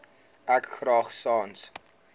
ek graag sans